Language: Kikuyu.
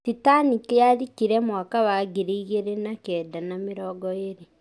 Titanic yarikire mwaka wa ngiri ĩmwe na kenda na mĩrongo ĩrĩ.